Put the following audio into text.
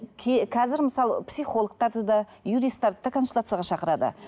қазір мысалы психологтарды да юристерді де консультацияға шақырады